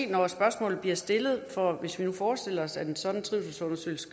når spørgsmålet bliver stillet hvis vi nu forestillede os at en sådan trivselsundersøgelse